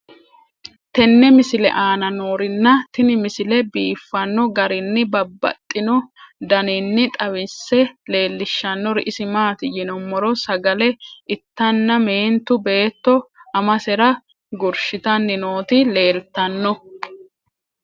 tenne misile aana noorina tini misile biiffanno garinni babaxxinno daniinni xawisse leelishanori isi maati yinummoro sagale ittanna meentu beetto amasera gurishittanni nootti leelittanno